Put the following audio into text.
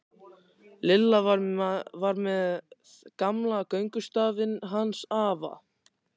Lilla var með gamla göngustafinn hans afa.